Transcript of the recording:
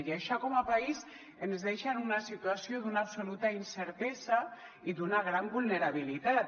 i això com a país ens deixa en una situació d’una absoluta incertesa i d’una gran vulnerabilitat